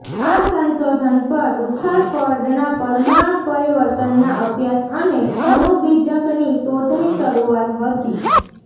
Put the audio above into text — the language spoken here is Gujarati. આ સંશોધન પર રુથરફર્ડના પરમાણુ પરિવર્તનના અભ્યાસ અને અણુ બીજકની શોધની શરૂઆત હતી